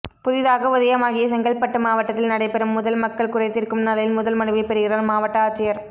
புதிதாக உதயமாகிய செங்கல்பட்டு மாவட்டத்தில் நடைபெறும் முதல் மக்கள் குறைத்தீா்க்கும்நாளில் முதல் மனுவை பெறுகிறாா் மாவட்ட ஆட்சியா்